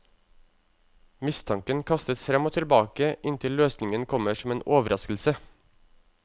Mistanken kastes frem og tilbake inntil løsningen kommer som en overraskelse.